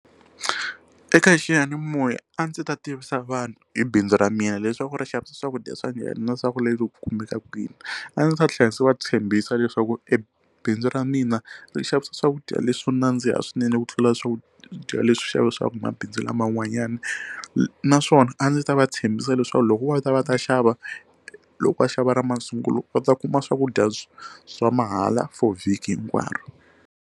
Eka xiyanimoya a ndzi ta tivisa vanhu hi bindzu ra mina leswaku ri xavisa swakudya swa njhani na swa ku ri kumeka kwini a ndzi ta tlhela ndzi va tshembisa leswaku e bindzu ra mina ri xavisa swakudya leswi swo nandziha swinene ku tlula swakudya leswi xavisiwaku mabindzu lama n'wanyana naswona a ndzi ta va tshembisa leswaku loko vo ta va ta xava loko va xava ra masungulo va ta kuma swakudya bya swa mahala for vhiki hinkwaro.